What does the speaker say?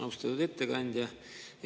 Austatud ettekandja!